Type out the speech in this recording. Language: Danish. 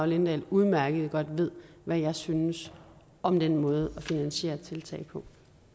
lindahl udmærket godt ved hvad jeg synes om den måde at finansiere tiltag på